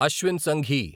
Ashwin Sanghi